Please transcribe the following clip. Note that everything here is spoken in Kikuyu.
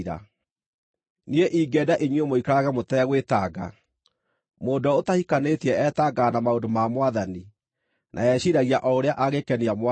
Niĩ ingĩenda inyuĩ mũikarage mũtegwĩtanga. Mũndũ ũrĩa ũtahikanĩtie etangaga na maũndũ ma Mwathani, na eciiragia o ũrĩa angĩkenia Mwathani.